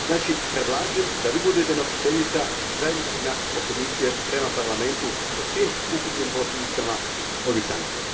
Znači, predlažem da vi budete nositeljica zajedničkog nastupa Komisije prema Parlamentu o svim ukupnim posljedicama ovih sankcija.